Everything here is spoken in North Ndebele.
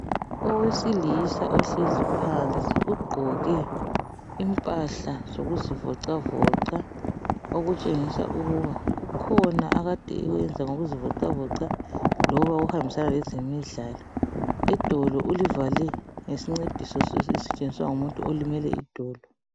Owesilisa ohlezi phansi ugqoke impahla zokuzivocavoca okutshengisa ukuba kukhona akade ekwenza ngokuzivocavoca loba okuhambisana lezemidlalo. Idolo ulivale ngesincediso esisetshenziswa ngumuntu olimele idolo.